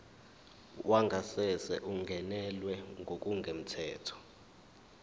wangasese ungenelwe ngokungemthetho